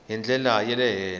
hi ndlela ya le henhla